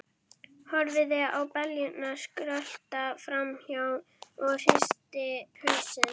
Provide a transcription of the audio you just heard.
Horfði á beljurnar skrölta fram hjá og hristi hausinn.